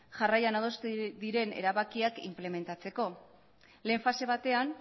jarraian adostu diren erabakiak inplementatzeko lehen fase batean